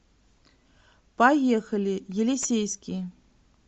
поехали елисейский